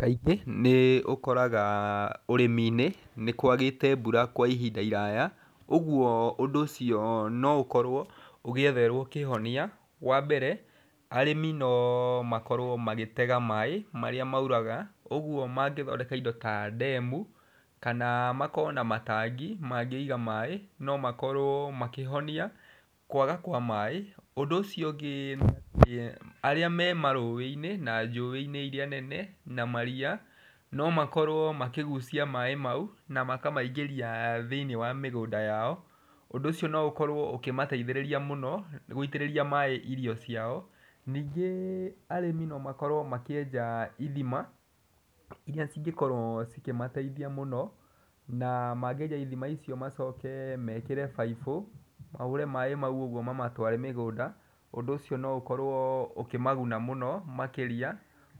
Kaingĩ nĩ ũkoraga ũrĩmi- ĩnĩ nĩ kwagĩte mbura kwa ihinda iraya, ũguo ũndũ ũcio no ũkorwo ũgĩetherwo kĩhonia, wa mbere, arĩmi no makorwo magĩtega maĩ marĩa mauraga, ũguo mangĩthondeka indo ta ndemu, kana makorwo na matangi, mangĩiga maĩ, no makorwo makĩhonia kwaga kwa maĩ, ũndũ ũcio ũngĩ, arĩa me marũĩ-inĩ na njũĩ-inĩ iria nene, na maria, no makorwo makĩgucia maĩ mau, na makamaingĩria thĩinĩ wa mĩgũnda yao, ũndũ ũcio no ũkorwo ũkĩmateithĩrĩria mũno gũitĩrĩria maĩ irio ciao, ningĩ arĩmi no makorwo makĩenja ithima, iria cingĩkorwo ikĩmateithia mũno, na mangĩenja ithima icio macoke mekĩre baibũ, mahũre maĩ macio ũguo mamatware mũgũnda ũndũ ũcio no ũKorwo ũkĩmaguna mũno makĩria,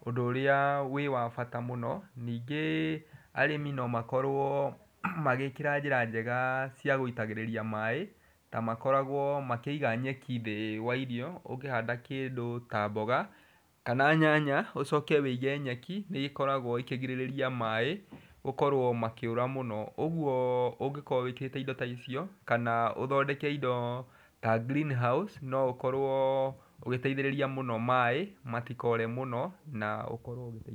ũndũ ũrĩa wĩ wabata mũno, nĩngĩ arĩmi no makorwo magĩkĩra njĩra njega cia gũitagĩrĩria maĩ, na makoragwo makĩiga njeki thĩ wa irio, ũngĩhanda kĩndũ ta mboga, kana nyanya, ũcoke wĩige nyeki, nĩ ĩkoragwo ĩkĩgirĩria maĩ gũkorwo makĩũra mũno, ũguo ũngĩkorwo wĩkĩte indo taicio, kana ũthondeke indo ta greenhouse no ũkorwo ũgĩteithĩrĩria mũno maĩ matikore mũno na ũkorwo ũgĩteithĩka.